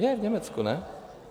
Je v Německu, ne?